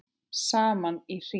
Saman í hring